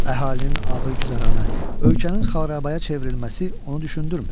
Əhalinin ağır güzaranı, ölkənin xarabaya çevrilməsi onu düşündürmür.